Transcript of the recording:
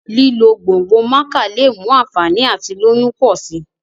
lílo gbòngbò maca lẹ mú ànfàní àti lóyún pọ si